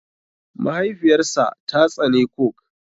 Mahaifiyar sa ta tsane coke.